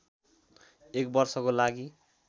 एक वर्षको लागि